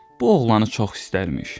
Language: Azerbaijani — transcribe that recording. Bu oğlanı çox istərmiş.